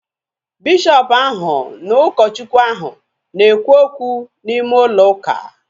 Bishọpu ahu na ụkọ Chukwu ahu na ekwu okwu n'ime ụlọ ụka